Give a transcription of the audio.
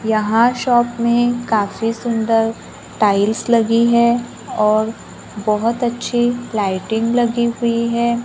यहां शॉप में काफी सुंदर टाइल्स लगी है और बहोत अच्छी लाइटिंग लगी हुई है।